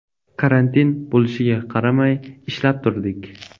Karantin bo‘lishiga qaramay, ishlab turdik.